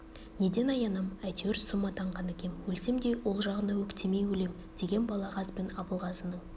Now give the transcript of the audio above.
неден аянам әйтеуір сұм атанған екем өлсем де ол жағына өктемей өлем деген балағаз бен абылғазының